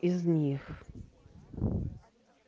из них